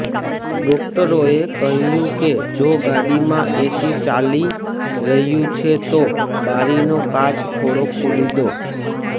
ડોક્ટરોએ કહ્યું કે જો ગાડીમાં એસી ચાલી રહ્યું છે તો બારીનો કાચ થોડો ખોલી દો